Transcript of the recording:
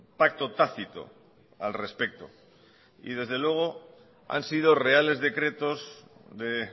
pacto tácito al respecto y desde luego han sido reales decretos de